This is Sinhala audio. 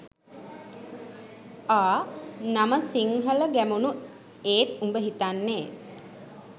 අ නම සිංහලගැමුණු ඒත් උඹ හිතන්නේ